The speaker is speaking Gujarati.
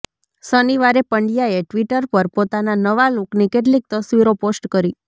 શનિવારે પંડ્યાએ ટ્વિટર પર પોતાના નવા લુકની કેટલીક તસ્વીરો પોસ્ટ કરી